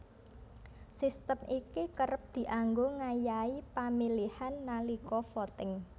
Sistem iki kerep dianggo ngayahi pamilihan nalika voting